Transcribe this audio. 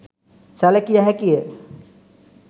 සැළකිය හැකි ය